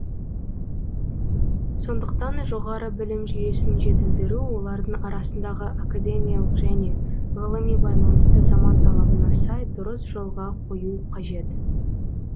сондықтан жоғары білім жүйесін жетілдіру олардың арасындағы академиялық және ғылыми байланысты заман талабына сай дұрыс жолға қою қажет